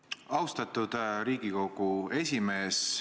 Austatud Riigikogu esimees!